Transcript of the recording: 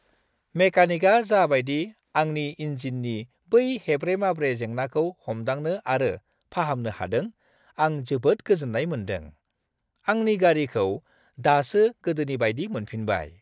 मेकानिकआ जा बायदि आंनि इनजिननि बै हेब्रे-माब्रे जेंनाखौ हमदांनो आरो फाहामनो हादों, आं जोबोद गोजोन्नाय मोनदों: आंनि गारिखौ दासो गोदोनि बायदि मोनफिनबाय।